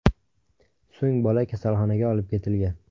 So‘ng bola kasalxonaga olib ketilgan.